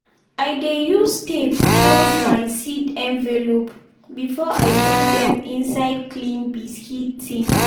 i dey use tape close my seed envelope before i put dem inside clean biscuit tin.